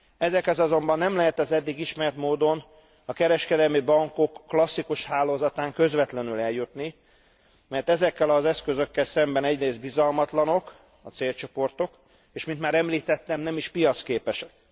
Ezekhez azonban nem lehet az eddig ismert módon a kereskedelmi bankok klasszikus hálózatán keresztül közvetlenül eljutni, mert ezekkel az eszközökkel szemben egyrészt bizalmatlanok a célcsoportok, és mint már említettem nem is piacképesek.